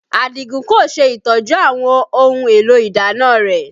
Adigun kò ṣe ìtọ́jú àwọn ohun èlò ìdáná rẹ